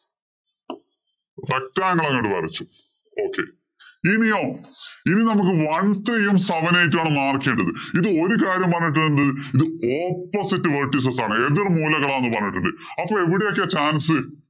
Rectangle അങ്ങോട്ട്‌ വരച്ചു. Okay ഇനിയോ ഇനി നമുക്ക് one three യും, seven eight ഉം ആണ് march ചെയ്യേണ്ടത്. ഇത് ഒരു കാര്യം പറഞ്ഞിട്ടുണ്ട് എന്ത് ഇത് opposite vertices ആണ്. എതിര്‍മൂലകളാണ് എന്ന് പറഞ്ഞിട്ടുണ്ട്. അപ്പൊ എവിടെയോക്കെയാ chance.